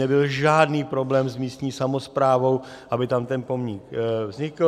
Nebyl žádný problém s místní samosprávou, aby tam ten pomník vznikl.